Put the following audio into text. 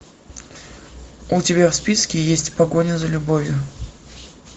у тебя в списке есть погоня за любовью